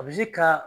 A bɛ se ka